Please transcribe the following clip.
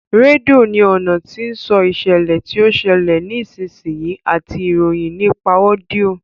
Rédíò ní ọ̀nà àti sọ ìṣẹ̀lẹ̀ tí ó ń ṣẹlẹ̀ ní ìsinsìnyí àti ìròyìn nípa ọ́díọ̀